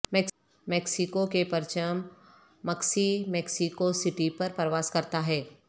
Mexico کے پرچم مکسی میکسیکو سٹی پر پرواز کرتا ہے